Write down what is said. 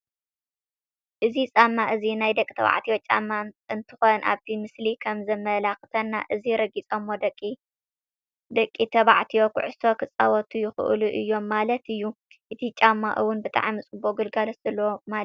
እዚ ፃማ እዚ ናይ ደቂ ተባዕትዮ ጫማ እንትኮን ኣብቲ ምስሊ ከም ዘመላክተና እዚ ረጊፆም ደቂ ባዕትዮ ኩዕሶ ክፃወቱ ይክእሉ እዮም ማለት እዩ። እቲ ጫማ እውን ብጣዕሚ ፅቡቅ ግልጋሎት ዘለዎ ማለት እዩ ።